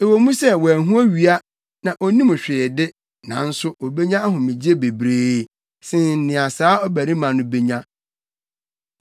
Ɛwɔ mu sɛ wanhu owia na onnim hwee de, nanso obenya ahomegye bebree sen nea saa ɔbarima no benya,